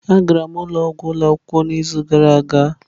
A gara m ụlọ ọgwụ ụlọ akwụkwọ n'izu gara aga.